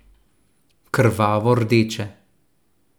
Krvavo rdeče.